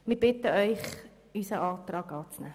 Wir bitten Sie, unseren Antrag anzunehmen.